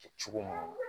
Kɛ cogo minnu na